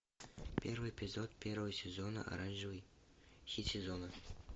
первый эпизод первого сезона оранжевый хит сезона